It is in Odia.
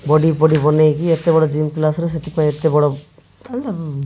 ବଡି ଫଡ଼ି ବନେଇକି ଏତେବଡ଼ ଜିମ୍ କ୍ଲାସରେ ସେଥିପାଇଁ ଏତେବଡ଼ --